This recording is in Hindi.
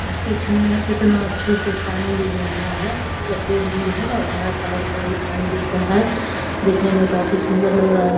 और कुछ नया कितने अच्छे से पानी गिर रहा है। सफेद भी है और हरा कलर का भी पानी दिख रहा है। देखने में काफी सुन्दर लग --